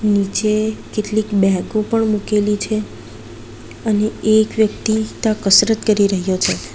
નીચે કેટલીક બેગો પણ મૂકેલી છે અને એક વ્યક્તિ તાં કસરત કરી રહ્યો છે.